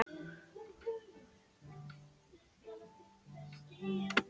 Samt heppinn að þetta er lokaður dansleikur.